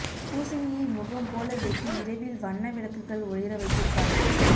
பூசணியை முகம் போல வெட்டி இரவில் வண்ண விளக்குகள் ஒளிர வைத்திருப்பார்கள்